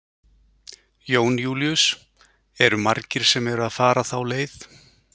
Jón Júlíus: Eru margir sem eru að fara þá leið?